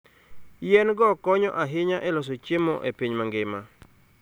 Yien-go konyo ahinya e loso chiemo e piny mangima.